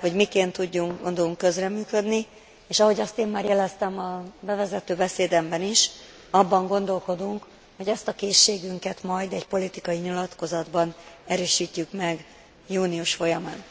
hogy miként tudunk közreműködni, és ahogy azt én már jeleztem a bevezető beszédemben is, abban gondolkodunk, hogy ezt a készségünket majd egy politikai nyilatkozatban erősítjük meg június folyamán.